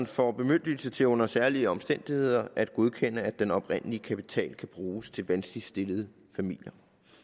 får bemyndigelse til under særlige omstændigheder at godkende at den oprindelige kapital kan bruges til vanskeligt stillede familier